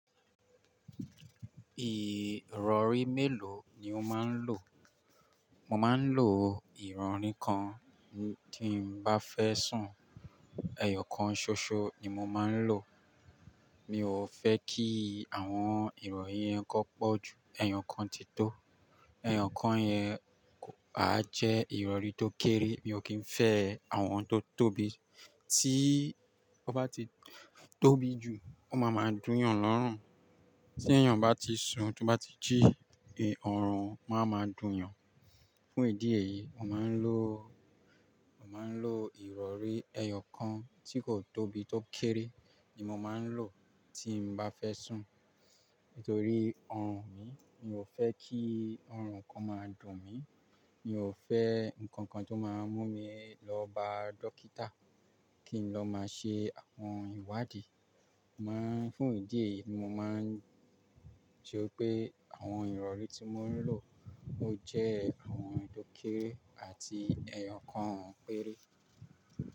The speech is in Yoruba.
Ìrọ̀rí mélòó ni o máa ń lò? Mo máa ń lò ìrọ̀rí kan, tí mo bá fẹ́ sùn, ẹyọ kan ṣoṣo ni mo máa ń lò. Mi ò fẹ́ kí àwọn ìrọ̀rí yẹn kó pọ̀ ju ẹyọ kan tí tó. Ẹyọ kan yẹn a jẹ́ ìrọ̀rí tó kéré, mi ò kí ń fẹ́ àwọn tó tóbi. Tí ó bá ti tóbi jù, ó máa máa dùn yàn lọ́rùn. Tí èèyàn bá ti sùn, tí ó bá ti jí, ọrùn máa máa dùn yàn. Fún ìdí èyí, mo máa ń lò, mo máa ń lò ìrọ̀rí ẹyọ kan tí kò tóbi, tó kéré ni mo máa ń lò tí mo bá fẹ́ sùn. Nítorí ọrùn mi, mi ò fẹ́ kí ọrùn kan máa dùn mí. Mi ò fẹ́ nǹkan kan tó máa mú mi lọ bá dókítà kí n lọ máa ṣe àwọn ìwádìí. Máa fún ìdí èyí, mo máa ń jó pé àwọn ìrọ̀rí tí mo ń lò ó jẹ́ àwọn tó kéré àti ẹyọ kan péré.